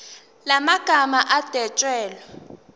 la magama adwetshelwe